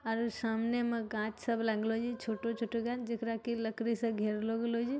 आर सामने में गाछ सब लागलो जे छोटो-छोटो गाछ जेकरा के लकड़ी से घेरलो गेलो जे |